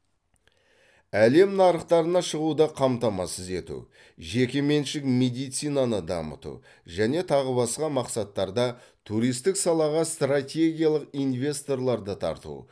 әлем нарықтарына шығуды қамтамасыз ету жекеменшік медицинаны дамыту және тағы басқа мақсаттарда туристік салаға стратегиялық инвесторларды тарту